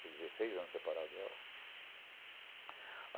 Fiz dezesseis anos separado dela.